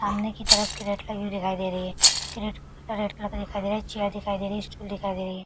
सामने की तरफ कैरेट लगी हुई दिखाई दे रही है कैरेट रेड कलर का दिखाई दे रहा है चैयर दिखाई दे रही है स्टूल दिखाई दे रही है।